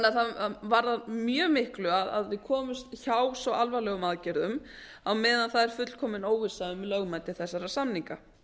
það varðar mjög miklu að við komumst hjá svo alvarlegum aðgerðum á meðan það er fullkomin óvissa um lögmæti þessara samninga